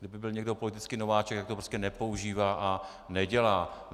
Kdyby byl někdo politický nováček, tak to prostě nepoužívá a nedělá.